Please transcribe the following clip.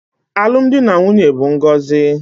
Alụmdi na nwunye bụ ngọzi